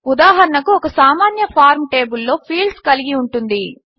ఉదాహరణకు ఒక సామాన్య ఫార్మ్ టేబిల్లో ఫీల్డ్స్ కలిగి ఉంటుంది